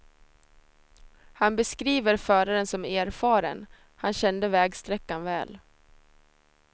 Han beskriver föraren som erfaren, han kände vägsträckan väl.